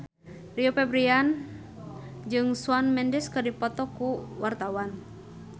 Rio Febrian jeung Shawn Mendes keur dipoto ku wartawan